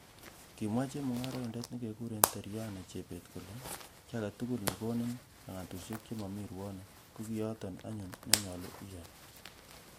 Kimwa chemung'oroindet nekekuren Terryane chebet kole,"kiy agetugul nekonin langatusiek chemomi ruonik, ko kiyoton anyun nenyolu iyai."